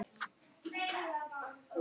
En þetta varð miklu meira.